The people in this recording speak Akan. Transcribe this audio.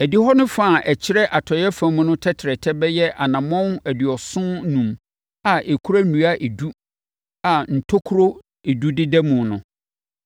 “Adihɔ no fa a ɛkyerɛ atɔeɛ fam no tɛtrɛtɛ bɛyɛ anammɔn aduɔson enum a ɛkura nnua edu a ntokuro edu deda mu mu.